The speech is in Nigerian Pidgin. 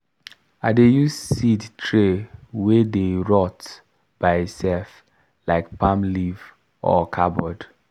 i dey use seed tray wey dey rot by itself like palm leaf or cardboard